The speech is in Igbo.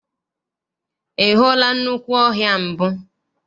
Ị hụla nnukwu ọhịa mbụ?